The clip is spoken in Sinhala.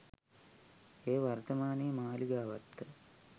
එය වර්තමානයේ මාලිගාවත්ත